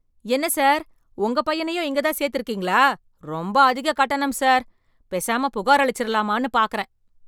என்ன சார் உங்க பையனையும் இங்க தான் சேத்து இருக்கீங்களா, ரொம்ப அதிக கட்டணம் சார். பேசாம புகாரளிச்சுரலாமான்னு பாக்கறேன்.